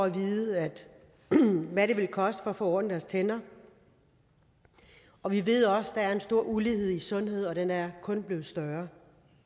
at vide hvad det vil koste at få ordnet deres tænder og vi ved også at der er en stor ulighed i sundhed og den er kun blevet større